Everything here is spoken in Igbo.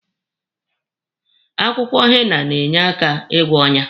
Akwụkwọ henna na-enyekwa aka ịgwọ ọnyá.